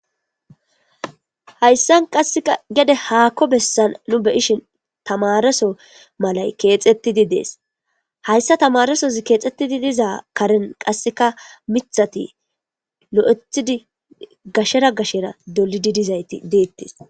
hayssa qassea gede haakko bessan nu beyishin tamaraso malay keexxettidi dees hayssa tamarasos keexxettidi diza karen qasseka mithati lo7ethidi gashera gashera dolididizayti deettes